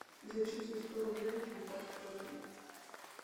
зачисли сто рублей на контакт коллега